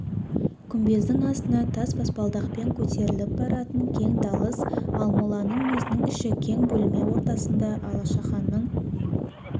күмбездің астына тас баспалдақпен көтеріліп баратын кең далыз ал моланың өзінің іші кең бөлме ортасында алашаханның